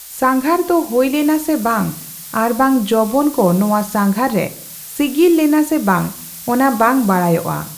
ᱥᱟᱸᱜᱷᱟᱨᱫᱚ ᱦᱳᱭ ᱞᱮᱱᱟ ᱥᱮᱵᱟᱝ ᱟᱨᱵᱟᱝ ᱡᱚᱵᱚᱱ ᱠᱚ ᱱᱚᱣᱟ ᱥᱟᱸᱜᱷᱟᱨ ᱨᱮ ᱥᱤᱜᱤᱞ ᱞᱮᱱᱟ ᱥᱮ ᱵᱟᱝ ᱚᱱᱟ ᱵᱟᱝ ᱵᱟᱲᱟᱭᱚᱜᱼᱟ ᱾